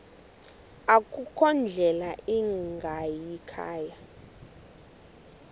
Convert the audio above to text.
akukho ndlela ingayikhaya